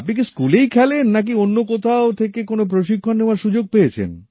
আপনি কি স্কুলেই খেলেন নাকি অন্য কোথাও থেকে কোন প্রশিক্ষণ নেওয়ার সুযোগ পেয়েছেন